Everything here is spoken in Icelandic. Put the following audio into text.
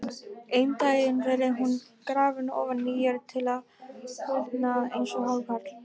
Einn daginn verður hún grafin ofan í jörð til að úldna eins og hákarl.